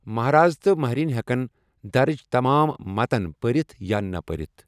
مہراز تہٕ مہرِنۍ ہٮ۪کَن درٕج تمام متَن پٔرِتھ یا نَہ پٔرِتھ ۔